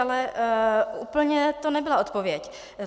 Ale úplně to nebyla odpověď.